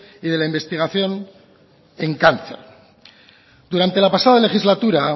y de la investigación en cáncer durante la pasada legislatura